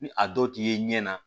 Ni a dɔ t'i ye ɲɛ na